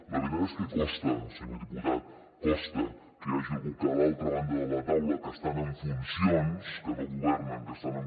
la veritat és que costa senyor diputat costa que hi hagi algú que a l’altra banda de la taula que estan en funcions que no governen eh